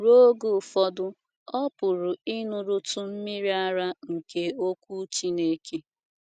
Ruo oge ụfọdụ, ọ pụrụ ịṅụrụtụ “ mmiri ara ” nke Okwu Chineke.